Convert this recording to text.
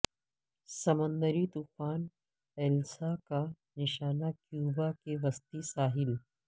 سمندری طوفان ایلسا کا نشانہ کیوبا کے وسطی ساحل